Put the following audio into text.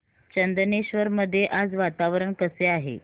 चंदनेश्वर मध्ये आज वातावरण कसे आहे